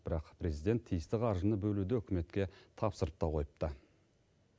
бірақ президент тиісті қаржыны бөлуді үкіметке тапсырып та қойыпты